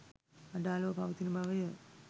අඩාළව පවතින බවය.